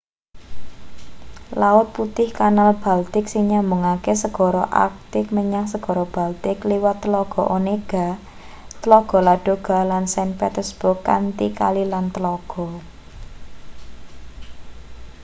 laut putih-kanal baltik sing nyambungke segara arktik menyang segara baltik liwat tlaga onega tlaga ladoga lan saint petersburg kanthi kali lan tlaga